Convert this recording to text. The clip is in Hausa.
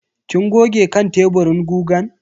Kin goge kan teburin gugan?